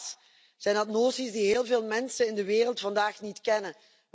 Helaas zijn dat noties die heel veel mensen in de wereld vandaag niet kennen.